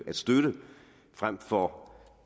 støtte frem for